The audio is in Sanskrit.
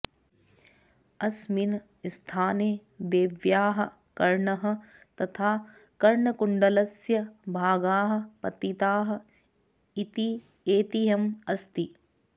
अस्मिन् स्थाने देव्याः कर्णः तथा कर्णकुण्डलस्य भागाः पतिताः इति ऐतिह्यम् अस्ति